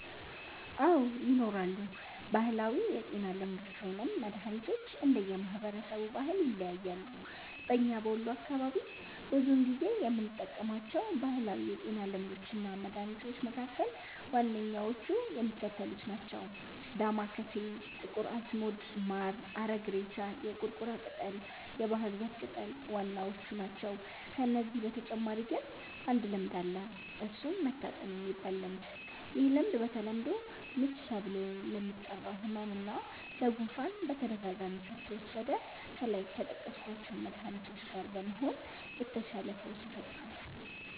አዎ! ይኖራሉ። ባህላዊ የጤና ልምዶች ወይም መድሀኒቶች እንደየ ማህበረሰቡ ባህል ይለያያሉ። በኛ በወሎ አካባቢ ብዙውን ጊዜ የምንጠቀማቸው ባህላዊ የጤና ልምዶች እና መድሀኒቶች መካከል ዋነኛዎቹ የሚከተሉት ናቸው። ዳማከሴ፣ ጥቁር አዝሙድ፣ ማር፣ አረግሬሳ፣ የቁርቁራ ቅጠል፣ የባህር ዛፍ ቅጠል ዋናዎቹ ናቸው። ከነዚህ በተጨማሪ ግን አንድ ልምድ አለ እሱም "መታጠን"የሚባል ልምድ፤ ይህ ልምድ በተለምዶ "ምች" ተብሎ ለሚጠራው ህመም እና ለ"ጉፋን"በተደጋጋሚ ከተወሰደ ከላይ ከጠቀስኳቸው መድሀኒቶች ጋ በመሆን የተሻለ ፈውስን ይፈጥራል።